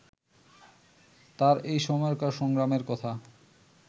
তাঁর এই সময়কার সংগ্রামের কথা